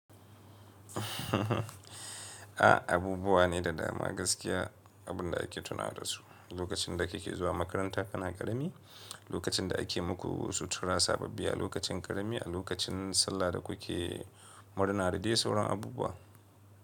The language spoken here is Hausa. A abubuwa ne da dama gaskiya abunda ake tunawa dasu, lokacin da kake zuwa makaranta kana karami, lokacin da ake muku sutura sababbi a lokacin karami, a lokacin sallah da kuke murna da dai sauran abubuwa.